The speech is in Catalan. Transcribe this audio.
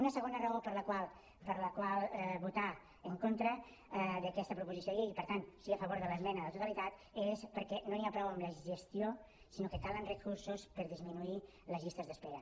una segona raó per la qual votar en contra d’aquesta proposició de llei i per tant sí a favor de l’esmena a la totalitat és perquè no n’hi ha prou amb la gestió sinó que calen recursos per disminuir les llistes d’espera